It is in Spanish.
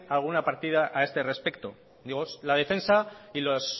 alguna partido a este respecto digo la defensa y los